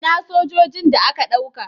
Ina sojojin da aka dauka?